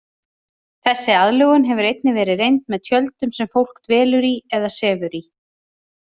Þessi aðlögun hefur einnig verið reynd með tjöldum sem fólk dvelur í eða sefur í.